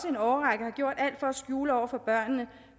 en årrække gjort alt for at skjule over for børnene